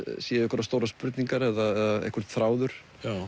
séu einhverjar stórar spurningar eða einhver þráður